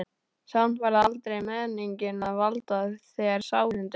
Samt var það aldrei meiningin að valda þér sárindum.